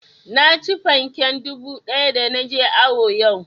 Naci fanken dubu ɗaya da na je awo yau